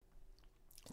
TV 2